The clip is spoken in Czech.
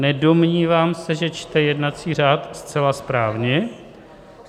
Nedomnívám se, že čte jednací řád zcela správně.